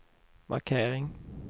markering